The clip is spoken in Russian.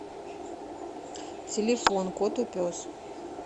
телефон котопес